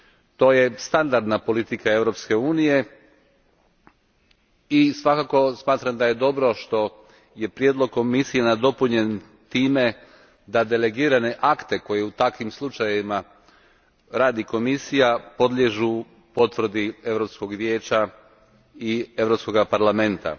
To je standardna politika Europske unije i svakako smatram da je dobro što je prijedlog Komisije nadopunjen time da delegirani akti koje u takvim slučajevima radi Komisija podliježu potvrdi Europskog vijeća i Europskog parlamenta.